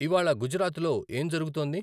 ఇవ్వాళ గుజరాత్లో ఏం జరుగుతోంది